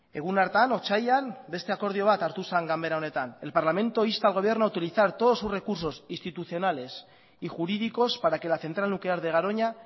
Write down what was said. egun hartan otsailean beste akordio bat hartu zen ganbera honetan el parlamento insta al gobierno a utilizar todos sus recursos institucionales y jurídicos para que la central nuclear de garoña